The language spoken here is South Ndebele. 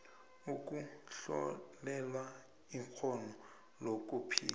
ukuhlolelwa ikghono lokuphila